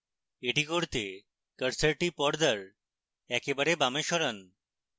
এটি করতে কার্সারটি পর্দার একেবারে বামে সরান